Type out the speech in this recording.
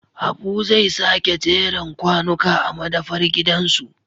Habu zai sake jeren kwanuka a madafar gidansu